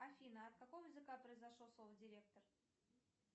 афина от какого языка произошло слово директор